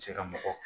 Cɛ ka mɔgɔ